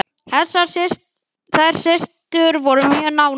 Þær systur voru mjög nánar.